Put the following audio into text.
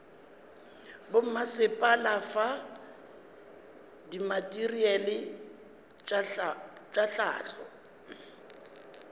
bommasepala fa dimateriale tša hlahlo